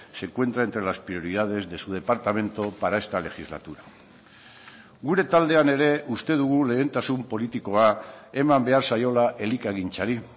se encuentra entre las prioridades de su departamento para esta legislatura gure taldean ere uste dugu lehentasun politikoa eman behar zaiola elikagintzari